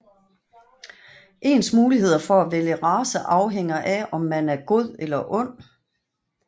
Ens muligheder for at vælge race afhænger af om man er god eller ond